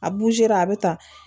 A a bɛ tan